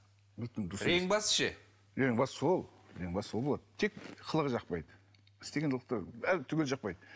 сол болады тек қылығы жақпайды істеген қылықтары бәрі түгелі жақпайды